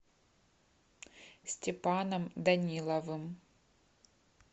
степаном даниловым